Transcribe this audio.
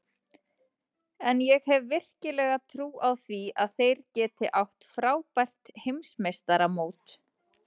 En ég hef virkilega trú á því að þeir geti átt frábært Heimsmeistaramót.